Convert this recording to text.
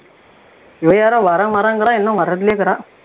இவன் யாரோ வர்றேன் வர்றேங்கிறான் இன்னும் வர்றதுலயே இருக்கான்